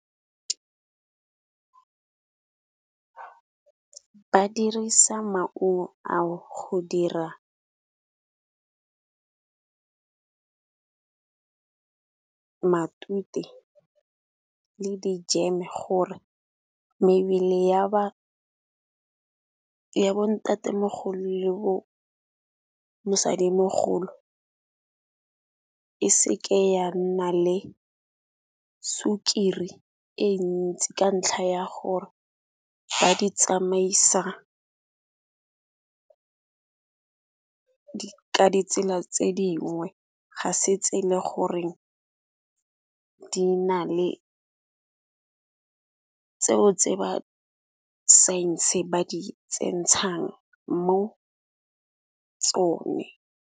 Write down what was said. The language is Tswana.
Ba dirisa maungo ao go dira matute le di jeme gore mebele ya bo ntatemogolo le bo mosadimogolo, e seke ya nna le sukiri e ntsi ka ntlha ya gore ba di tsamaisa ka ditsela tse dingwe. Ga se tse e le goreng di na le tseo tse ba science-e ba di tsentshang mo tsone.